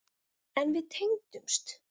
En við tengdumst.